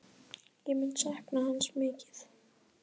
Ég mun sakna hans mikið.